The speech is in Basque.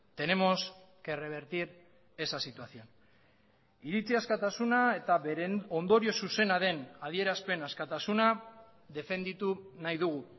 tenemos que revertir esa situación iritzi askatasuna eta beren ondorio zuzena den adierazpen askatasuna defenditu nahi dugu